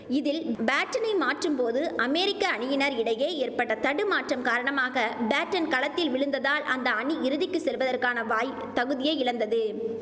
இதில் பேட்டனை மாற்றும் போது அமேரிக்க அணியினர் இடையே ஏற்பட்ட தடுமாற்றம் காரணமாக பேட்டன் களத்தில் விழுந்ததால் அந்த அணி இறுதிக்கு செல்வதற்கான வாய் தகுதியை இழந்தது